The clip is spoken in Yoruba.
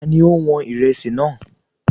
Ta ni ó wọn Ìrẹsì náà?